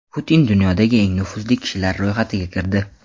Putin dunyodagi eng nufuzli kishilar ro‘yxatiga kirdi .